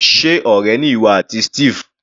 Sé ọ̀rẹ́ ni ìwọ àti Steve?